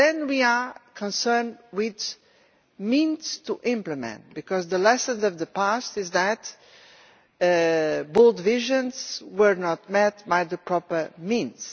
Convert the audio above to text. But then we are concerned with the means to implement this, because the lesson of the past is that bold visions were not matched by the proper means.